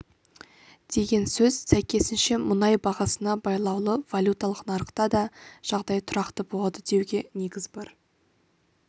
деген сөз сәйкесінше мұнай бағасына байлаулы валюталық нарықта да жағдай тұрақты болады деуге негіз бар